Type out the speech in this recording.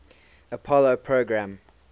apollo program